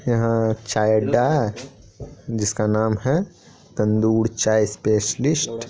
यहाँ चाय अड्डा है जिसका नाम है तंदूर चाय स्पेस्लिस्ट ।